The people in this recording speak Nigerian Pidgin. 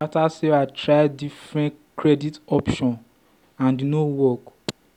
after sarah try different credit option and e no work